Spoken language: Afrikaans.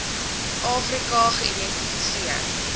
afri ka geïdentifiseer